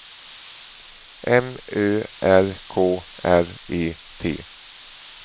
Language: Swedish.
M Ö R K R E T